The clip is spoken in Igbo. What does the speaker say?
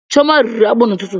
Chioma rịrị akpụ n'ụtụtụ